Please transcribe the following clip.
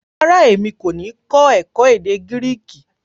Rárá, èmi kò ní kó èkó èdè gíríkì